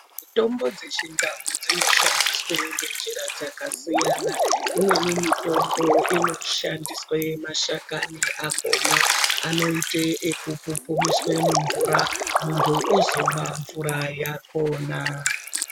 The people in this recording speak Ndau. Mitombo dzechindau dzinoshandiswe ngenjira dzakasiyana, imweni mitombo inoshandiswe mashakani akhona anoite ekupupumiswe mumvura munthu ozomwa mvura yakhona.